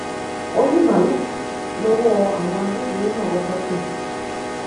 ó ní maruf l'ọwọ àwọn agbófinró náà kọkọ tẹ